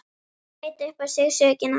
Hann veit upp á sig sökina.